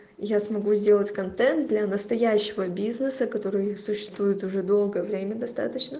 я смогу сделать контент для настоящего бизнеса который существуют уже долгое время достаточно